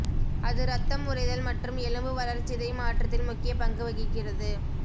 அது இரத்தம் உறைதல் மற்றும் எலும்பு வளர்சிதை மாற்றத்தில் முக்கிய பங்கு வகிக்கிறது